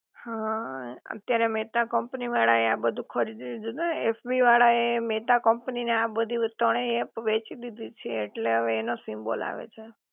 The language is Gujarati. હા અત્યારે મેતા કંપની વાળા એ આ બધુ ખરીદી લીધું છે હો એફબી વાળા એ મેતા કંપની ને આ બધી ત્રણેય એપ વેચી દીધી છે ઍટલે હવે એનો સિમ્બોલ આવે છે